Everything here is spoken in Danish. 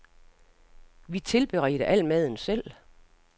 Vi tilberedte al maden selv.